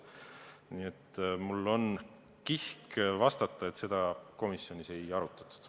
Nii et mul on kihk vastata, et seda komisjonis ei arutatud.